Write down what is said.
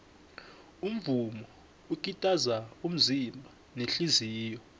umvumo ukitaza umzimba nehliziyo